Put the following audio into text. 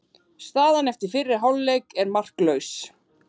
Staðan eftir fyrri hálfleik er markalaus